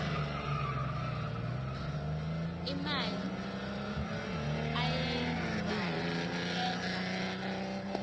imali ayenzayo uyenza